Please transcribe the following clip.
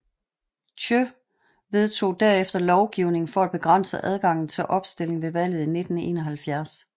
Thiệu vedtog derefter lovgivning for at begrænse adgangen til opstilling ved valget i 1971